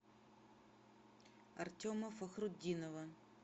артема фахрутдинова